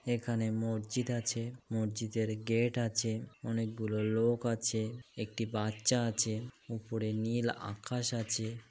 এখানে মরজিদ আছে মরজিদ এর গেট আছে অনেকগুলো লোক আছে একটি বাচ্চা আছে উপরে নীল আকাশ আছে ।